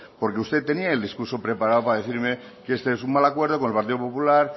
porque usted tenía el discurso preparado para decirme que este es un mal acuerdo con el partido popular